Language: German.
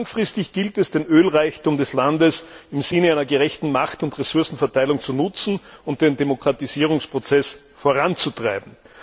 Langfristig gilt es, den Ölreichtum des Landes im Sinne einer gerechten Macht und Ressourcenverteilung zu nutzen und den Demokratisierungsprozess voranzutreiben.